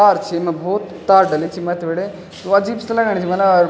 तार छी यमा भोत तार डली छी मथ्थी बटे वू अजीब सी लगणी छी मने--